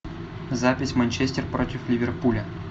запись манчестер против ливерпуля